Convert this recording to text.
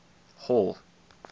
hall